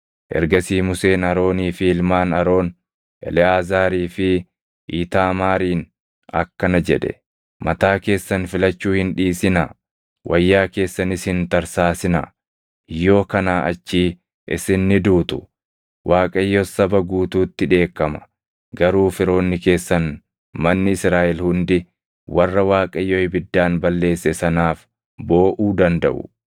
Ergasii Museen Aroonii fi ilmaan Aroon, Eleʼaazaarii fi Iitaamaariin akkana jedhe; “Mataa keessan filachuu hin dhiisinaa; wayyaa keessanis hin tarsaasinaa; yoo kanaa achii isin ni duutu; Waaqayyos saba guutuutti dheekkama. Garuu firoonni keessan manni Israaʼel hundi warra Waaqayyo ibiddaan balleesse sanaaf booʼuu dandaʼu.